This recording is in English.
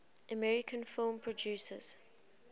american film producers